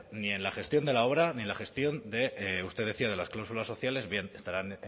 ni en la gestión de la obra ni en la gestión de usted decía de las clausulas sociales bien estarán